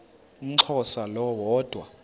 umxhosa lo woda